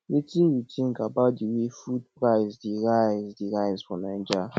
wetin you think about di way food price dey rise dey rise for naija